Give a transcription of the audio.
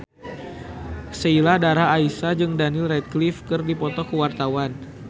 Sheila Dara Aisha jeung Daniel Radcliffe keur dipoto ku wartawan